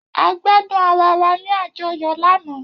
A gbadun ara wa ni ajọyọ lana